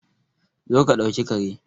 Zo ka dauki Kare